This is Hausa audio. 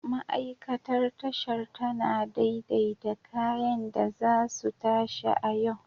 Ma'aikatar Tashar tana daidaita kayan da za su tashi a yau.